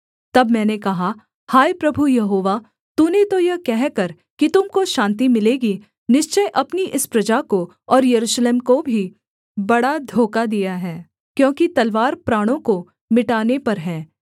तब मैंने कहा हाय प्रभु यहोवा तूने तो यह कहकर कि तुम को शान्ति मिलेगी निश्चय अपनी इस प्रजा को और यरूशलेम को भी बड़ा धोखा दिया है क्योंकि तलवार प्राणों को मिटाने पर है